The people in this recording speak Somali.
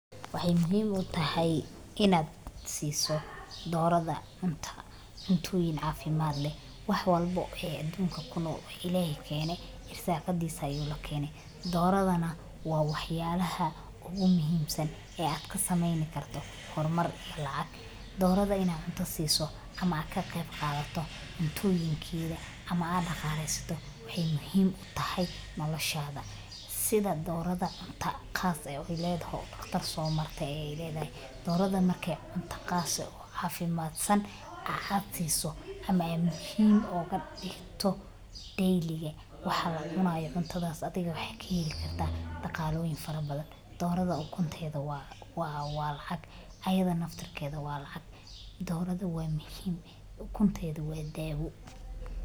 Waxay muhim utahay inad siso Dorada cunta cuntoyin cafimad leh waxlba e adunka kunol ilahay keenay irsaqasisa ayu lakenay. Doradana wa waxyalaha ugu muhim san e ad kasameyn karta hormar lacag. Dorada inta cunta sisid ama kaqeyb qadato cuntoyinkeda ama daqaleysato waxay muhim utahay nolashada si dorada cunta khas ay ledahay o dhaqtar somartay ay ledhay doorada markay cuntas khas o cafimadsan ama machine oga digto daily iga waxa waxa cunaya cuntadas kaheli karta daqaloyin fara badan doorada ukunteda wa lacag ayada naftinkeda wa lacag doradu wa muhim ukunteda wa dawo.